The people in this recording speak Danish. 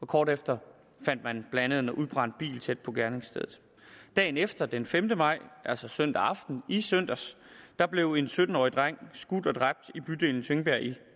kort efter fandt man blandt andet en udbrændt bil tæt på gerningsstedet dagen efter den femte maj altså søndag aften i søndags blev en sytten årig dreng skudt og dræbt i bydelen tingbjerg i